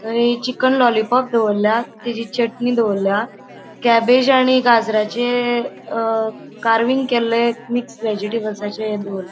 थय chicken lollipop दवरला. तेजि चटनी दवरला क्येबेज आणि गाजराचे अ कारविंग केल्ले मिक्स वेजिटेबल्साचे ह्ये दवर ----